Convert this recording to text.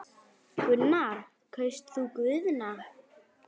Gunnar: Kaust þú Guðna?